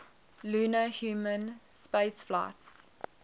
lunar human spaceflights